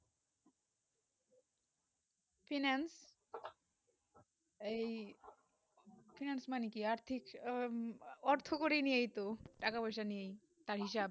finance এই finance মানে কি আর্থিক অর্থকরিনিয়াইতো টাকা পয়সা নিয়াত তার হিসাব